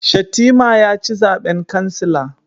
Shatima ya ci zaben kansila